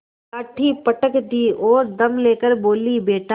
लाठी पटक दी और दम ले कर बोलीबेटा